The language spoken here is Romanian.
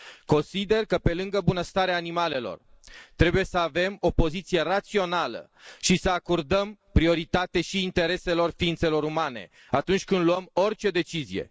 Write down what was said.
Consider că, pe lângă bunăstarea animalelor, trebuie să avem o poziție rațională și să acordăm prioritate și intereselor ființelor umane atunci când luăm orice decizie.